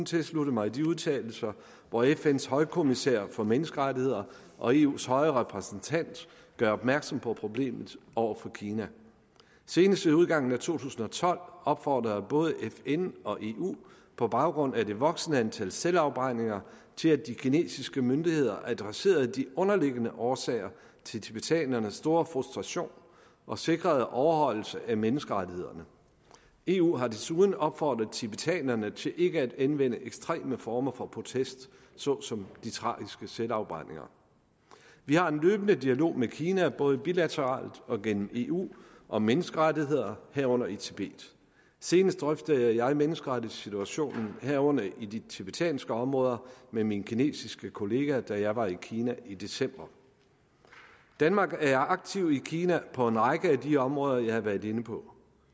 tilslutte mig de udtalelser hvori fns højkommissær for menneskerettigheder og eus høje repræsentant gør opmærksom på problemet over for kina senest ved udgangen af to tusind og tolv opfordrede både fn og eu på baggrund af det voksende antal selvafbrændinger til at de kinesiske myndigheder adresserede de underliggende årsager til tibetanernes store frustration og sikrede overholdelse af menneskerettighederne eu har desuden opfordret tibetanerne til ikke at anvende ekstreme former for protest såsom de tragiske selvafbrændinger vi har en løbende dialog med kina både bilateralt og gennem eu om menneskerettigheder herunder i tibet senest drøftede jeg menneskerettighedssituationen herunder i de tibetanske områder med min kinesiske kollega da jeg var i kina i december danmark er aktiv i kina på en række af de områder jeg har været inde på